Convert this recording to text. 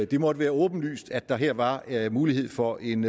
det måtte være åbenlyst at der her var mulighed for en